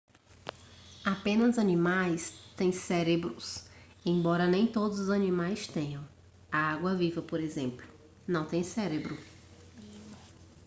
apenas animais têm cérebros embora nem todos os animais tenham; a água-viva por exemplo não tem cérebro